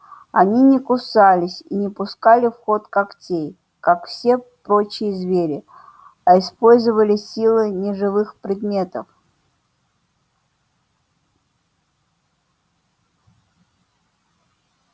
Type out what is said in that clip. они не кусались и не пускали в ход когтей как все прочие звери а использовали силы неживых предметов